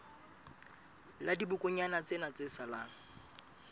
la dibokonyana tsena tse salang